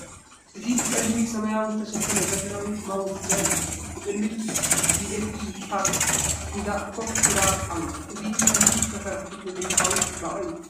እዚ ብጸሊምን ሰማያውን ዝተሸፈነት ዘመናዊት ማውዝ ዘርኢ እዩ። ኣብ ቅድሚት ዩኤስቢ ፖርት ሒዛ ኮፍ ኢላ ኣላ ። እዚ ቀሊል ዝተሰርሐ ቴክኖሎጂካዊ ጽባቐ'ዩ።